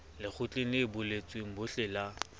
lekgotleng le buletsweng bohle la